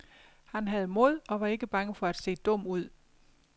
Han havde mod og var ikke bange for at se dum ud.